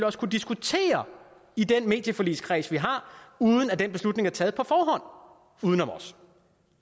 også kunne diskutere i den medieforligskreds vi har uden at den beslutning er taget på forhånd uden om os